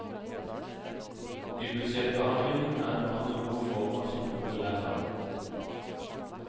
I budsjettbehandlingen er det mange gode formål som konkurrerer.